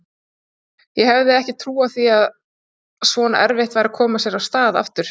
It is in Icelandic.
Ég hefði ekki trúað því að svona erfitt væri að koma sér af stað aftur.